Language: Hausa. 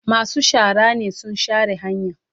Masu shara ne sun share hanyan.